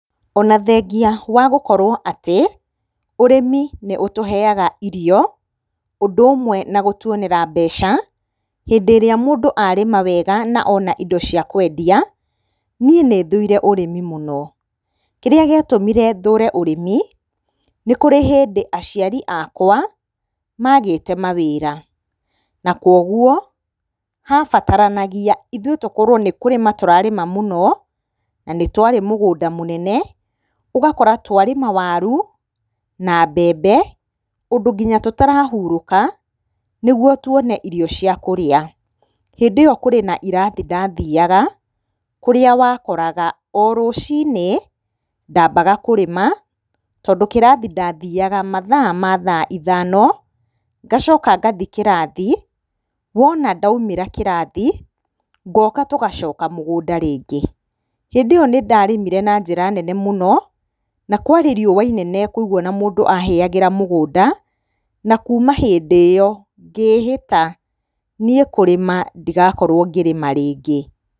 Ona thengia wa gũkorwo atĩ, ũrĩmi nĩ ũtũheaga irio, ũndũ ũmwe na gũtuonera mbeca, hĩndĩ ĩrĩa mũndũ arĩma wega na ona indo cia kwendia, niĩ nĩ thũire ũrĩmi mũno, kĩrĩa gĩatũmire thũre ũrĩmi, nĩ kũrĩ hĩndĩ aciari akwa magĩte mawĩra, na kũguo habataranagia ithuĩ tũkorwo nĩ kũrĩma tũrarĩma mũno, na nĩ twarĩ mũgũnda mũnene, ũgakora twarĩma waru, na mbembe ũndũ nginya tũtarahurũka nĩ guo tuone irio cia kũrĩa. Hĩndĩ ĩyo kũrĩ na ĩrathi ndathiaga, kũrĩa wakoraga o rũcinĩ ndambaga kũrĩma, tondũ kĩrathi ndathiaga mathaa ma thaa ithano, ngacoka ngathiĩ kĩrathi, wona ndaumĩra kĩrathi, ngoka tũgacoka mũgũnda rĩngĩ. Hĩndĩ ĩyo nĩ ndarĩmire na njĩra nene mũno, na kwarĩ riũa inene mũno kwoguo na mũndũ ahĩagĩra mũgũnda, na kuuma hĩndĩ ĩyo ngĩĩhĩta niĩ kũrĩma ndigakorwo ngĩrĩma rĩngĩ.